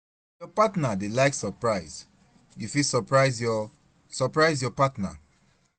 If your partner dey like surprise, you fit surprise your surprise your partner